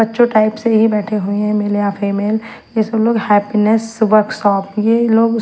बच्चों टाइप से ही बैठे हुए है मेल या फीमेल ये सब लोग हैप्पीनेस वर्कशॉप ये लोग--